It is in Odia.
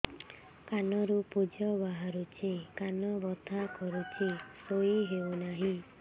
କାନ ରୁ ପୂଜ ବାହାରୁଛି କାନ ବଥା କରୁଛି ଶୋଇ ହେଉନାହିଁ